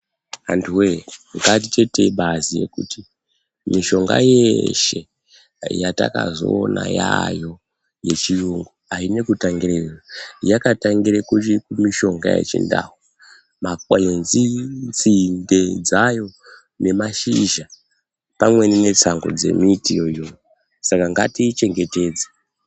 Anduwe ngatiitei teibaziya mishonga yeshe yatakazoona yaayo yechiyungu aina kutangireyo. Yakatangira kumushonga yechindau , makwenzi, nzinde dzayo nemashizha pamweni netsango dzemuti iyoyo. Saka ngatiichengetedze.